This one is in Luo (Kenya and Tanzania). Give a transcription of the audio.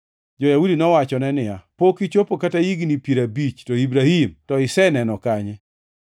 Jo-Yahudi nowachone niya, “Pok ichopo kata higni piero abich, to Ibrahim to iseneno kanye!”